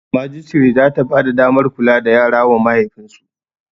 Majistare zata bada damar kula da yara wa mahaifin su